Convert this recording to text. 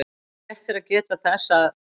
Rétt er að geta þess að